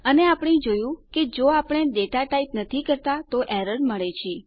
અને આપણે જોયું છે કે જો આપણે ડેટા ટાઈપ નથી કરતા તો એરર મળે છે